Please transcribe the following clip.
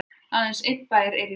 aðeins einn bær er í byggð